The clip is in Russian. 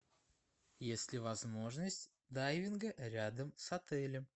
есть ли возможность дайвинга рядом с отелем